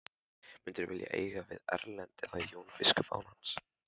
Myndirðu vilja eiga við Erlend eða Jón biskup án hans?